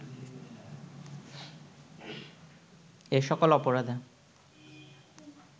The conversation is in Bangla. এ সকল অপরাধে